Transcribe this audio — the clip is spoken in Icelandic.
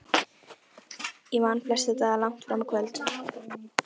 Ég vann flesta daga langt fram á kvöld.